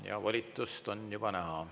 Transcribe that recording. Ja volitust on juba näha.